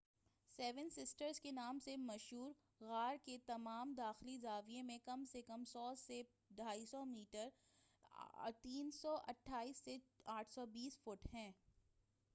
Seven sisters کے نام سے مشہور غار کے تمام داخلے زاویہ میں کم سے کم 100 سے 250 میٹرز 328 سے 820 فٹ ہیں۔